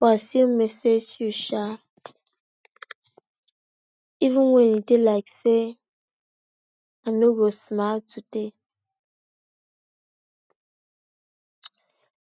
but still message u sha even wen he dey like say I no go smile today.